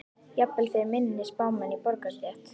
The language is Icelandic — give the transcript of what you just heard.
Jafnvel fyrir minni spámenn í borgarastétt.